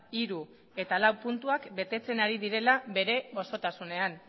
hiru eta lau puntuak betetzen ari direla bere osotasunean